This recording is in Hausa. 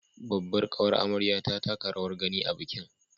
Babbar ƙawar amaryar ta taka rawar gani a bikin